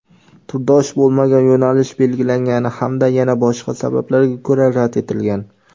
turdosh bo‘lmagan yo‘nalish belgilangani hamda yana boshqa sabablarga ko‘ra rad etilgan.